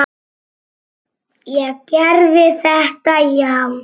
Ég gerði þetta, já.